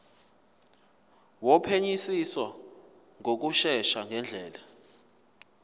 wophenyisiso ngokushesha ngendlela